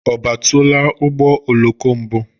Ọ batụla ụgbọ oloko mbụ?